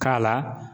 K'a la